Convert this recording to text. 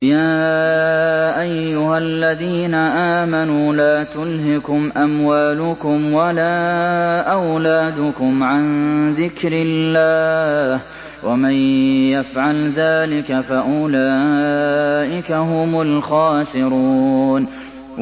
يَا أَيُّهَا الَّذِينَ آمَنُوا لَا تُلْهِكُمْ أَمْوَالُكُمْ وَلَا أَوْلَادُكُمْ عَن ذِكْرِ اللَّهِ ۚ وَمَن يَفْعَلْ ذَٰلِكَ فَأُولَٰئِكَ هُمُ الْخَاسِرُونَ